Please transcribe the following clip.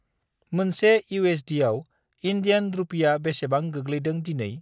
मोनसे इउएसडिआव इन्डियान रुपिआ बेसेबां गोग्लैदों दिनै?